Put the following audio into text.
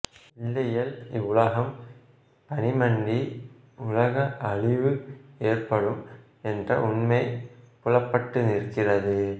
இல்லையேல் இவ்வுலகம் பனிமண்டி உலக அழிவு ஏற்படும் என்ற உண்மை புலப்பட்டு நிற்கிறது